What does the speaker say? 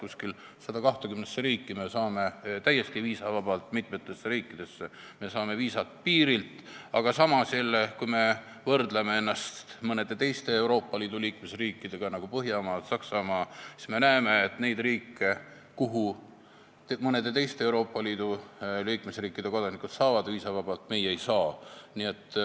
Umbes 120 riiki me saame täiesti viisavabalt, mitmes riigis saame viisa piiril, aga samas, kui me võrdleme ennast mõne teise Euroopa Liidu liikmesriigiga, nagu Põhjamaad või Saksamaa, siis me näeme, et on neid riike, kuhu mõne teise Euroopa Liidu liikmesriigi kodanikud saavad viisavabalt, aga meie ei saa.